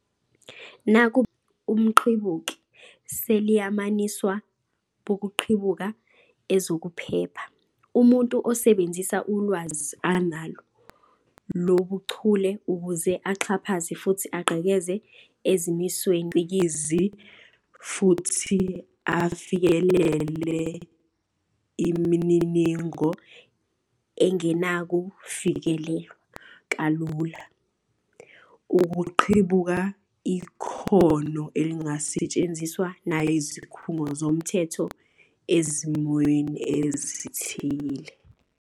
Nakuba ibizo elithi umqhibuki seliyamaniswa bokuqhibuka ezokuphepha - umuntu osebenzisa ulwazi analo lobuchule ukuze axhaphaze futhi agqekeze ezimisweni zesicikizi futhi afikelele imininingo engenakufikelelwa kalula - ukuqhibuka ikhono elingasetshenziswa nayizikhungo zomthetho ezimweni ezithile.